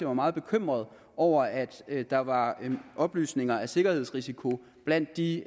var meget bekymret over at der var oplysninger sikkerhedsrisiko blandt de